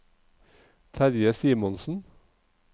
Terje Simonsen